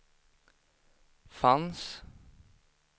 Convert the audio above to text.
fanns